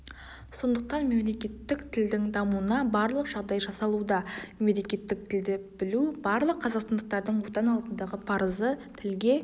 сондықтан мемлекеттік тілдің дамуына барлық жағдай жасалуда мемлекеттік тілді білу барлық қазақстандықтардың отан алдындағы парызы тілге